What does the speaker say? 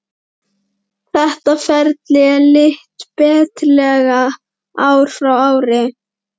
Þetta ferli er lítt breytilegt ár frá ári.